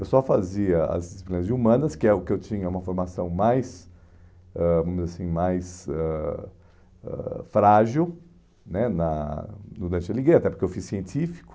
Eu só fazia as disciplinas de humanas, que é o que eu tinha uma formação mais ãh vamos dizer assim, mais ãh ãh frágil né na no Dante Alighieri, até porque eu fiz científico.